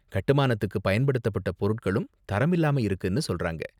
கட்டுமானத்துக்கு பயன்படுத்தப்பட்ட பொருட்களும் தரம் இல்லாம இருக்குனு சொல்றாங்க.